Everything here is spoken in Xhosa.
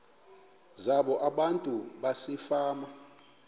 zabo abantu basefama